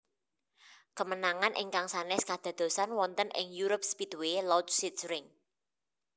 Kemenangan ingkang sanès kadadosan wonten ing EuroSpeedway Lausitzring